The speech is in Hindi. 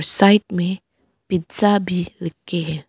साइड में पिज़्ज़ा भी लिखे हैं।